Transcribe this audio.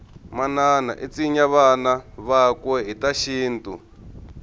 manana itsinya vana vakwe hhitashintu